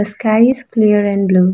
The sky is clear and blue.